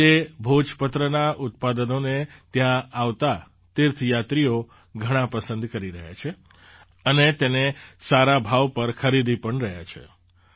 આજે ભોજપત્રનાં ઉત્પાદનોને ત્યાં આવતા તીર્થયાત્રીઓ ઘણા પસંદ કરી રહ્યા છે અને તેને સારા ભાવ પર ખરીદી પણ રહ્યા છે